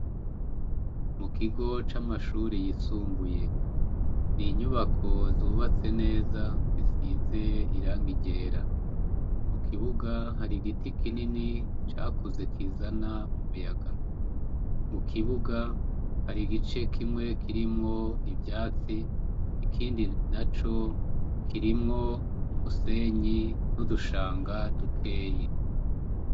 Mukigo camashure yisumbuye inyubako zubatse neza zisize irangi ryera kukibuga hari igiti kinini cakuze kizana akayaga mukibuga hari igice kimwe kirimwo ivyatsi ikindi naco kirimwo umusenyi nudushanga dukenya